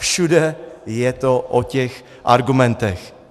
Všude je to o těch argumentech.